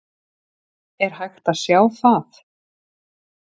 Er hægt að sjá það?